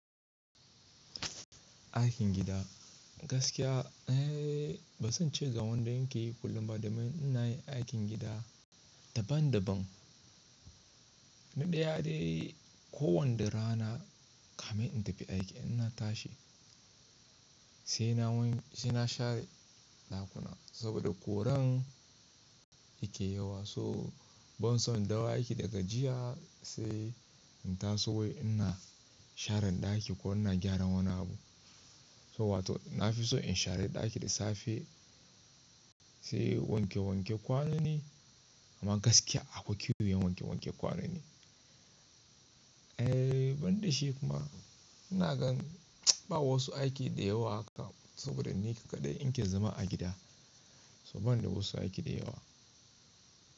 Aikin gida gaskiya eh, ba zan ce ga wanda in ke kullum ba da main ina yin aikin gida daban-daban. Ni ɗaya dai kowani rana kame in tafi aiki ina tashi sai na wanke sai na share ɗakuna saboda ƙuran yake yawa. So ban so in dawo aiki daga jiya sai in taso wai ina sharan ɗaki ko ina gyaran wani abu. So wato na fi so in share ɗaki da safe sai wanke wanke kwano ne amma gaskiya akwai kyau yin wanke wanke kwano ne. Eh banda shi kuma ina gan ba wasu aiki da yawa haka saboda ni kaɗai in ke zama a gida. So ban da wasu aiki da yawa.